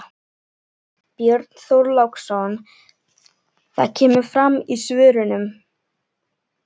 Björn Þorláksson: Það kemur fram í svörunum?